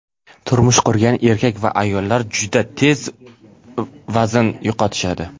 turmush qurgan erkak va ayollar juda tez vazn yo‘qotishadi.